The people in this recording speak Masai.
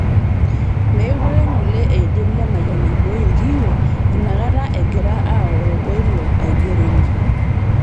Mekure ng'ole eidim Lemayian aibooi ilkiyio inakata egira aoro oilo aigeronni